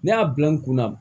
Ne y'a bila n kunna